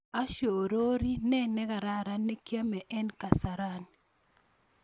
Ashorori ne nekararan ne kiame en kasarani